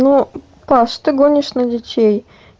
ну паша ты гонишь на детей